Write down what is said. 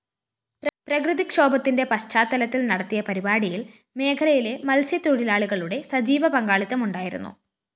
പ്രകൃതിക്ഷോഭത്തിന്റെ പശ്ചാത്തലത്തില്‍ നടത്തിയ പരിപാടിയില്‍ മേഖലയിലെ മത്സ്യത്തൊഴിലാളികളുടെ സജീവ പങ്കാളിത്തമുണ്ടായിരുന്നു